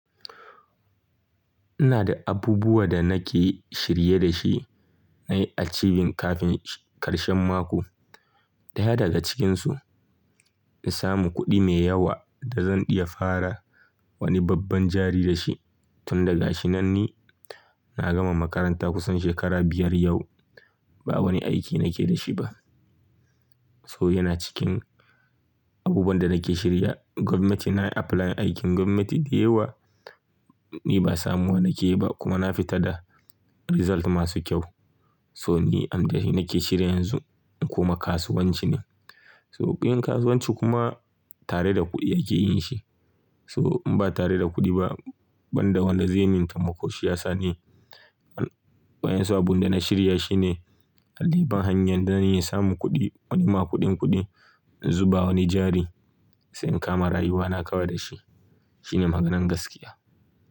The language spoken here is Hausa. Ina da abubuwa da nake shirye da shi na yi achieving kafin karshen mako. Ɗaya daga cikinsu, in samu kuɗi mai yawa da zan iya fara wani babban jari da shi. Tunda ga shi nan ni na gama makaranta kusan shekara biyar yau ba wani aiki nake da shi ba. So yana cikin abubuwan da nake shirya, gwamnati na yi apply aikin gwamnati da yawa ni ba samu wa nike yi ba kuma na fita da result masu kyau. So ni an da shi nake shirya yanzu kuma kasuwanci ne. So yin kasuwanci kuma tare da kuɗi ake yin shi. So in ba tare da kuɗi ba banda wanda zai min taimako shi ya sa ni. Bayan su abun da na shirya shine na diba hanyar da zan iya samun kuɗi wani ma kuɗin kuɗi in zuba wani jari sai in kama rayuwa na kawai da shi. Shi ne maganan gaskiya.